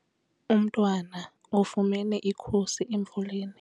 Umntwana ufumene ikhusi emvuleni.